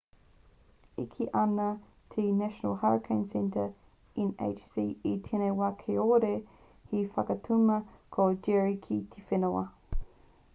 e kī ana te national hurricane center nhc i tēnei wā kāore he whakatuma tō jerry ki te whenua